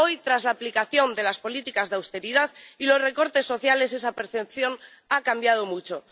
Hoy, tras la aplicación de las políticas de austeridad y los recortes sociales, esa percepción ha cambiado mucho.